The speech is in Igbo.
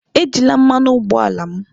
Ejila mmanụ ụgbọala m!